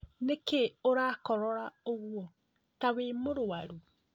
Nĩkĩĩ ũrakororra ũguo tawĩ mũrwaru?